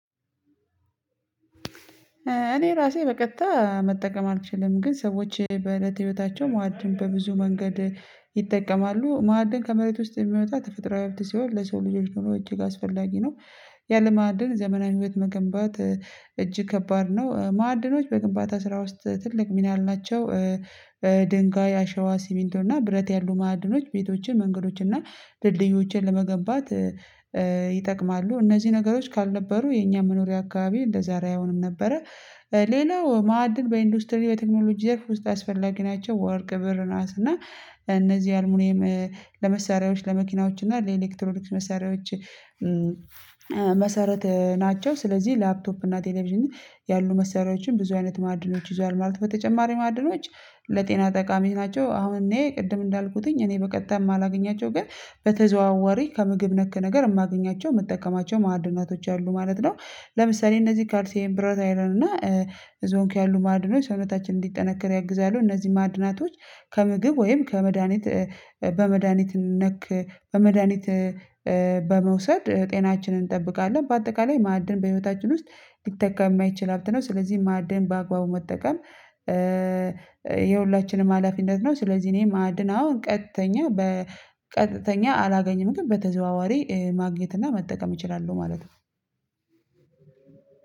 እኔ ራሴ በቀጥታ መጠቀም አልችልም ግን ሰዎች በእለት ህይወታቸው መዕድን በብዙ መንገድ ይጠቀማሉ ማዕድን ከመሬት ውስጥ የሚመጣ ተፈጥሮአዊ ሀብት ሲሆን ለሰው ልጆች ኑሮ እጅግ አስፈላጊ ነው። ያለ ማዕድን ዘመናዊ ህይወት መገንባት እጅግ ከባድ ነው። ማዕድኖች በግንባታ ስራ ውስጥ ትልቅ ሚና አላቸው። ድንጋይ አሸዋ ሲሚንቶ እና ብረት ያሉ ማዕድኖች ቤቶችን መንገዶችን እና ድልድዮችን ለመገንባት ይጠቅማሉ። እነዚህ ነገሮች ካልነበሩ የኛ መኖሪያ አካባቢ እንደዛሬ አይሆንም ነበረ። ሌላው ማዕድን በኢንዱስትሪ በቴክኖሎጂ ዘርፍ ውስጥ አስፈላጊ ናቸው ወርቅ ብእር ነሀስ እና እነዚህ አልሙኒየም ለመሳሪያዎች ለመኪናዎች እና ለኤሌክትሮኒክስ መሳሪያዎች። መሰረት ናቸው። ስለዚህ ላፕቶፕ እና ቴሌቪዥን ያሉ መሰሪያዎችን ብዙ አይነት ማዕድኖች ይዘዋል። ማለት በተጨማሪም ማዕድኖች ለጤና ጠቃሚ ናቸው። አሁን እኔ ቅድም እንዳልኩት እኔ በቀጣይ የማላገኛቸው ግን በተዘዋዋሪ ከምግብ ነክ ነገር የማገኛቸው የምጠቀማቸው ማዕድናቶች አሉ ማለት ነው። ለምሳሌ እነዚህ ካልሲዬም ብረት አይረን እና እዚያው ያሉ ማዕድኖች ሰውነታችን እንዲጠናከር ያግዛሉ። እነዚህ ማዕድናቶች ከምግብ ወይም ከመድሃኒት በመድሃኒት ነክ በመድሃኒት በመውሰድ ጤናችንን እንጠብቃለን። በአጠቃላይ ማዕድን በህይወታችን ውስጥ ሊተካ የማይችል ሀብት ነው። ስለዚህ ማዕድን በአግባቡ መጠቀም የሁላችንም ሀላፊነት ነው። ስለዚህ እኔ ማዕድን ቀጥተኛ በ ቀጥተኛ አላገኝም ግን በተዘዋዋሪ ማግኘት እና መጠቀም እችላለሁ ማለት ነው።